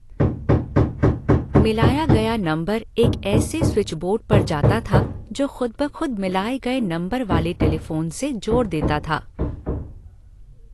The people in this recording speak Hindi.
मिलाया गया नंबर एक ऐसे स्विचबोर्ड पर जाता था जो ख़ुदबख़ुद मिलाये गए नंबर वाले टेलिफ़ोन से जोड़ देता था।